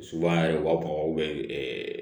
Subahana u b'a fɔ